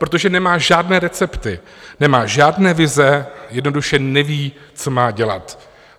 Protože nemá žádné recepty, nemá žádné vize, jednoduše neví, co má dělat.